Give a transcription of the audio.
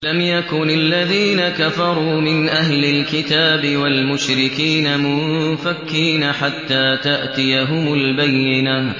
لَمْ يَكُنِ الَّذِينَ كَفَرُوا مِنْ أَهْلِ الْكِتَابِ وَالْمُشْرِكِينَ مُنفَكِّينَ حَتَّىٰ تَأْتِيَهُمُ الْبَيِّنَةُ